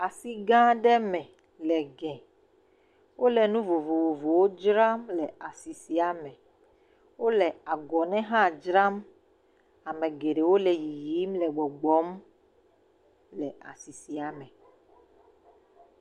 Asi gã aɖe me le egɛ. Wole nu vovovowo dzram le asi sia me. Wole agɔnɛ hã dzram. Amewo le yiyim le gbɔgbɔ le asi sia me.